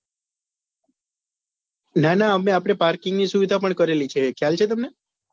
ના નાં આપને parking ની સુવિધા પણ કરેલી છે એ ખ્યાલ છે